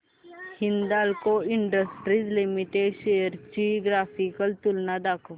Hindalco industries limited shares ची graphical तुलना दाखव